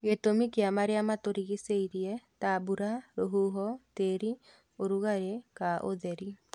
Gĩtũmi kĩa marĩa matũrigicĩirie ta mbura, rũhuho, tĩri, ũrugarĩ ka ũtheri